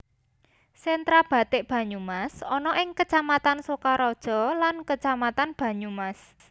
Sentra bathik Banyumas ana ing Kecamatan Sokaraja lan Kecamatan Banyumas